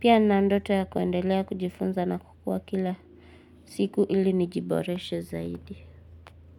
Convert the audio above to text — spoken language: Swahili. Pia nina ndoto ya kuendelea kujifunza na kukua kila siku ili nijiboreshe zaidi.